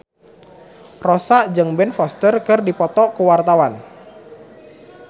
Rossa jeung Ben Foster keur dipoto ku wartawan